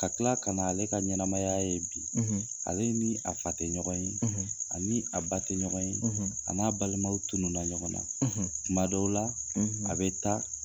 Ka tila kan'ale ka ɲɛnamaya ye bi. ale ni a fa tɛ ɲɔgɔn ye, ani a ba tɛ ɲɔgɔn ye, a n'a balimaw tununna ɲɔgɔn na. tuma dɔw la, a bɛ taa